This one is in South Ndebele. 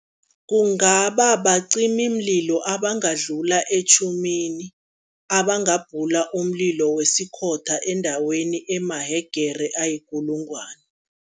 Kungaba bacimimlilo abangadlula etjhumini, abangabhula umlilo wesikhotha endaweni emahegere ayikulungwana.